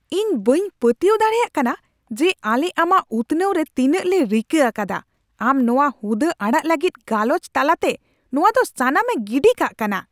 ᱤᱧ ᱵᱟᱹᱧ ᱯᱟᱹᱛᱭᱟᱹᱣ ᱫᱟᱲᱮᱭᱟᱜ ᱠᱟᱱᱟ ᱡᱮ ᱟᱞᱮ ᱟᱢᱟᱜ ᱩᱛᱱᱟᱹᱣ ᱨᱮ ᱛᱤᱱᱟᱹᱜᱞᱮ ᱨᱤᱠᱟᱹ ᱟᱠᱟᱫᱟ, ᱟᱢ ᱱᱚᱶᱟ ᱦᱩᱫᱟᱹ ᱟᱲᱟᱜ ᱞᱟᱹᱜᱤᱫ ᱜᱟᱞᱚᱪ ᱛᱟᱞᱟᱛᱮ ᱱᱚᱶᱟ ᱫᱚ ᱥᱟᱱᱟᱢᱮ ᱜᱤᱰᱤ ᱠᱟᱜ ᱠᱟᱱᱟ ᱾